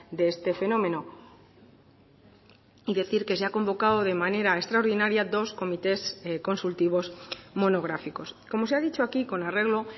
de este fenómeno y decir que se ha convocado de manera extraordinaria dos comités consultivos monográficos como se ha dicho aquí con arreglo